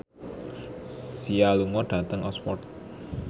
Sia lunga dhateng Oxford